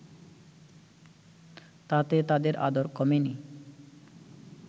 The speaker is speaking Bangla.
তাতে তাঁদের আদর কমেনি